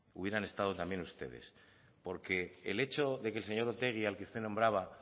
hubieran estado también ustedes porque el hecho de que el señor otegi al que usted nombraba